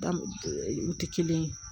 Da u tɛ kelen ye